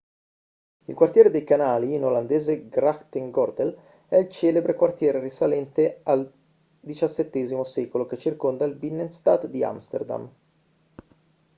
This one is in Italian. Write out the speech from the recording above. il quartiere dei canali in olandese grachtengordel è il celebre quartiere risalente al xvii secolo che circonda il binnenstad di amsterdam